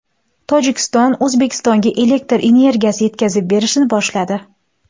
Tojikiston O‘zbekistonga elektr energiyasi yetkazib berishni boshladi.